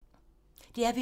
DR P3